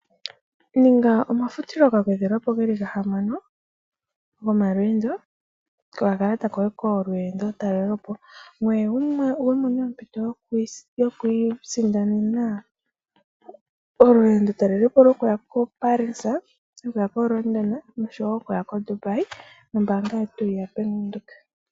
Ninga omafutilo ga gwedhwapo geli ga hamano gomalweendo kokakalata koye kolweendo talelepo ngoye wumone ompito yoku isindanena olweendo talelapo lyokuya ko Paris, London oshowo koDubai nombaanga yetu ya Venduka.